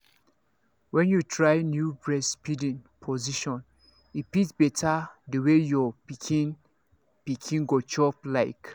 when you try new breastfeeding position e fit better the way your pikin pikin go chop like